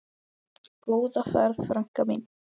Góða ferð, frænka mín.